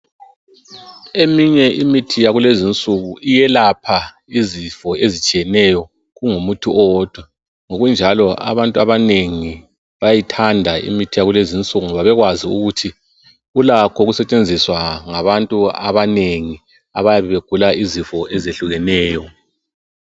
Eminye imithi yakulezinsuku iyelapha izifo ezitshiyeneyo kungumuthi owodwa. Ngokunjalo abantu abanengi bayayithanda ngoba ulakho ukusetshenziswa ngabantu abanengi abayabe begula izifo ezitshiyeneyo.